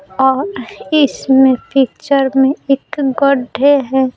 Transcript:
और इसमें पिक्चर में एक गड्ढे है।